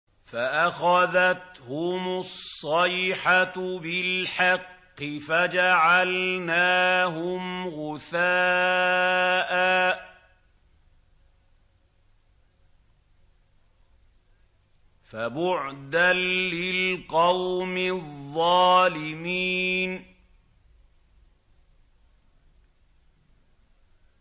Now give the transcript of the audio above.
فَأَخَذَتْهُمُ الصَّيْحَةُ بِالْحَقِّ فَجَعَلْنَاهُمْ غُثَاءً ۚ فَبُعْدًا لِّلْقَوْمِ الظَّالِمِينَ